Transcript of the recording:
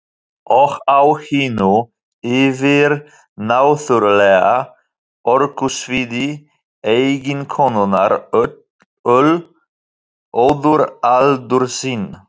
Og á hinu yfirnáttúrlega orkusviði eiginkonunnar ól Oddur aldur sinn.